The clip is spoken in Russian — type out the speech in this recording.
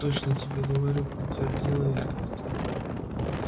точно тебе говорю подтвердила я